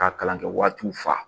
Ka kalan kɛ waatiw fa